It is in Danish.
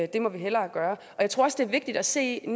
det må vi hellere gøre jeg tror også det er vigtigt at se